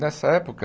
Nessa época,